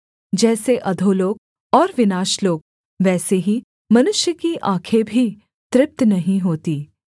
जैसे अधोलोक और विनाशलोक वैसे ही मनुष्य की आँखें भी तृप्त नहीं होती